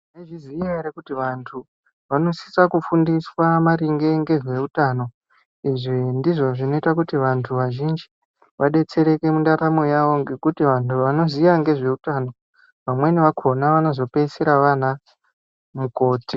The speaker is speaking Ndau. Munozviziya here kuti vantu vanosisa kufundiswa maringe ngezveutano izvi ndizvo zvinoita kuti vantu vazhinji vadetsereke mundaramo yavo ngekhuti vantu vanoziya ngezve utano vamweni vakhona vanozopeisira vanazvo.